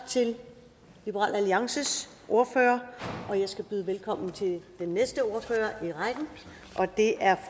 til liberal alliances ordfører og jeg skal byde velkommen til den næste ordfører i rækken og det er